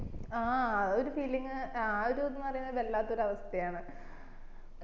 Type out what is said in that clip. ആ ആ ഒരു feeling ആ ഒരു ഇത് എന്ന് പറയുന്നത് വല്ലാത്തൊരു അവസ്ഥ ആന്